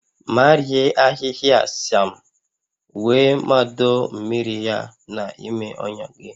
Marie ahịhịa sịam wee mado mmiri ya n'ime ọnya gị